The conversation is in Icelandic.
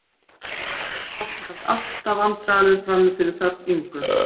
Gústaf varð vandræðalegur frammi fyrir þögn Ingu